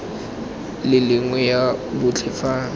le nngwe ya botlhe fa